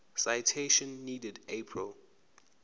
citation needed april